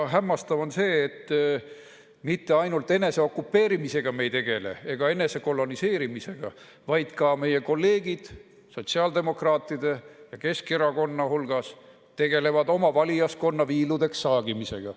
Hämmastav on see, et me ei tegele mitte ainult eneseokupeerimise ega enesekoloniseerimisega, vaid meie kolleegid sotsiaaldemokraatide ja Keskerakonna hulgas tegelevad oma valijaskonna viiludeks saagimisega.